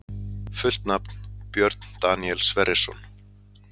Fullt nafn: Björn Daníel Sverrisson